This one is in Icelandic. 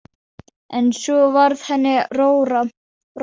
En svo varð henni rórra.